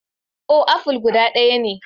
Oh, aful dubu ɗaya ne.